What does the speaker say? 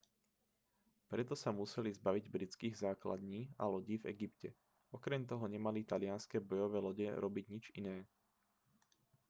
preto sa museli zbaviť britských základní a lodí v egypte okrem toho nemali talianske bojové lode robiť nič iné